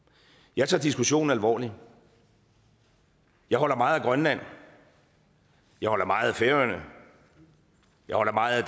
jeg tager diskussionen alvorligt jeg holder meget af grønland jeg holder meget af færøerne jeg holder meget